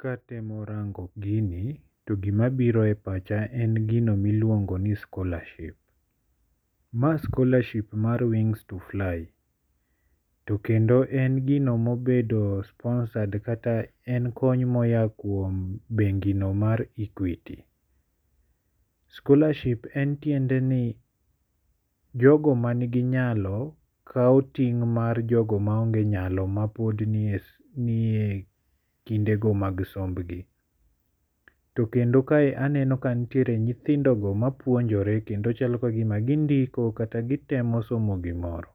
Katemo rango gini to gimabiro e pacha en gini miluongo ni scholarship. Ma scholarship mar wings to fly. To kendo en gino mobedo sponsored kata en kony mo ya kuom bengi no mar Equity. Scholarship en tiende ni jogo man gi nyalo kaw ting' mar jogo ma onge nyalo ma pod ni e kinde go mag somb gi. To kendo kae aneno ka nitiere nyithindo go mapuonjore kendo chalo ka gima gindiko kata gitemo somo gimoro.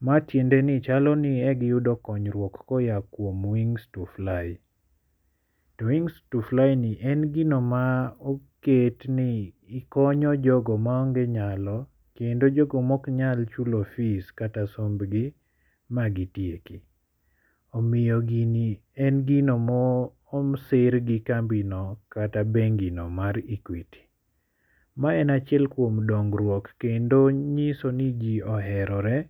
Ma tiende ni chalo ni chalo ni e gi yudo konyruok ko ya kuom wings to fly. To wings to fly ni en gino ma oket ni konyo jogo ma onge nyalo kendo jogo mok chulo fees kata somb gi ma gitieki. Omiyo gini en gino mosir gi kambi no kata bengi no mar Equity. Ma en achiel kuom dongruok kendo nyiso ni ji oherore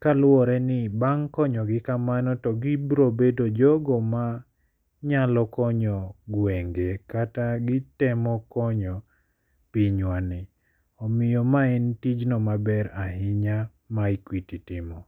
kaluwore ni bang' konyo gi kamano to gibiro bedo jogo ma nyalo konyo gwenge kata gitemo konyo piny wa ni. Omiyo ma en tijno maber ahinya ma Equity timo.